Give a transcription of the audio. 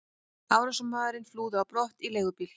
Árásarmaðurinn flúði á brott í leigubíl.